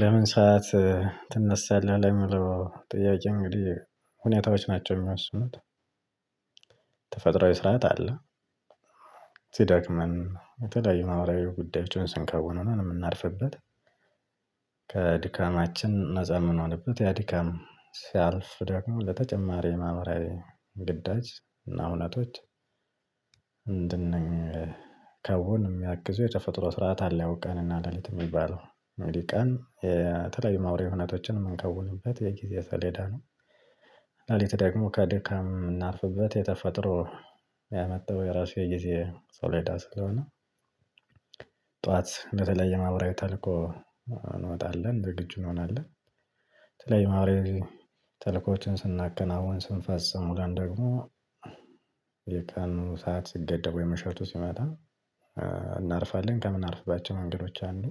በምን ሰዓት ትነሳለህ? ለሚለው ጥያቄ እንግዲህ ሁኔታዎች ናቸው የሚወስኑት ተፈጥሮአዊ ስርዓት አለ። ሲደክመን የተለያዩ ማህበራዊ ጉዳዮችን ስንከውን ነው የምናርፍበት። ከድካማችን ነፃ ምንሆነበት ያ ድካም ሲያልፍ ደግሞ ለተጨማሪ የማህበራዊ ግዳጅ እና ሁነቶች። እንድንከውን የሚያግዙ የተፈጥሮ ስርዓት አለ ያው ቀን እና ለሊት የሚባለው እንግዲ ቀን የተለያዩ ማውሬ ሁነቶችን የምንከውንበት የጊዜ ሰሌዳ ነው። ሌሊት ደግሞ ከድካም ምናርፍበት የተፈጠሮ ያመጣው የራሱ የጊዜ ሰሌዳ ስለሆነ። ጠዋት በተለይ የማህበራዊ ተልኮ እንወጣለን ዝግጁ እንሆናለን። የተለያዩ የማህበራዊ ተልእኮዎችን ስናከናውን ስንፈጽም ደግሞ። የቀኑ ሰዓት ሲገደብ ወይም ምሸቱ ሲመጣ እናርፋለን። ከምናርፍባቸው መንገዶች አንዱ